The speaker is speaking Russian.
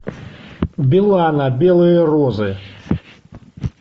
билана белые розы